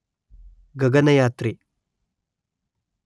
ಗಗನಯಾತ್ರಿ